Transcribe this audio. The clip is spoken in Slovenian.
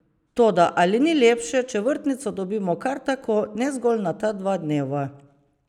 Toda ali ni lepše, če vrtnico dobimo kar tako, ne zgolj na ta dva dneva?